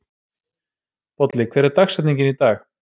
Bolli, hver er dagsetningin í dag?